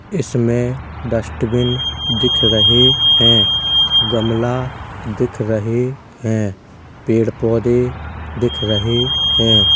इसमे डस्टबिन दिख रहे हैं | गमला दिख रहे है| पेड़ पौधे दिख रहे हैं।